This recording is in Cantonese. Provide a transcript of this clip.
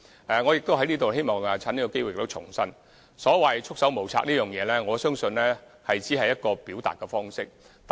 我亦希望藉此機會重申，所謂"束手無策"，我相信只是一個表達方式。